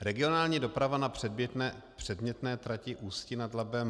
Regionální doprava na předmětné trati Ústí nad Labem -